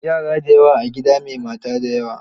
Yara na da yawa a gida mai mata da yawa.